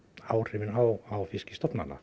áhrifin á